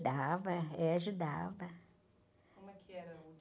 Dava, é, ajudava.